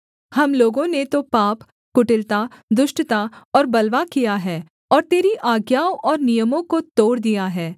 हम लोगों ने तो पाप कुटिलता दुष्टता और बलवा किया है और तेरी आज्ञाओं और नियमों को तोड़ दिया है